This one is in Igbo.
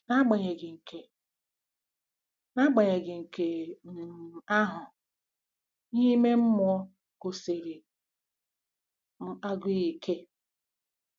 N'agbanyeghị nke N'agbanyeghị nke um ahụ, ihe ime mmụọ gụsiri m agụụ ike.